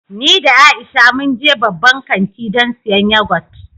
Ni da Aisha mun je babban kanti don siyan yagot.